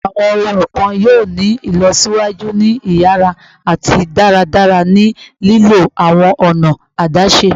Awọn ohun kan yoo ni ilọsiwaju ni iyara ati daradara ni lilo awọn ọna adaṣe